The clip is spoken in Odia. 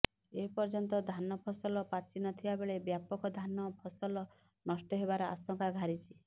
ଏପର୍ଯ୍ୟନ୍ତ ଧାନ ଫସଲ ପାଚିନଥିବାବେଳେ ବ୍ୟାପକ ଧାନ ଫସଲ ନଷ୍ଟ ହେବାର ଆଶଙ୍କା ଘାରିଛି